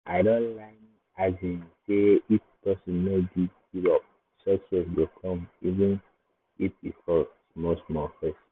i don learn um say if person no give give up success go come even um if e fail small-small first.